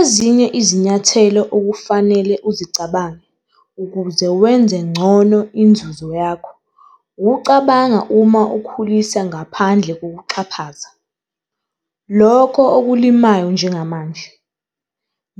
Ezinye izinyathelo okufanele uzicabange ukuze wenze ngcono inzuzo yakho ukucabanga uma ukhulisa ngaphandle kokuxhaphaza, lokho ukulimayo njengamanje.